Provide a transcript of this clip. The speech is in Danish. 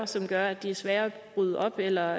som gør at de er sværere at bryde op eller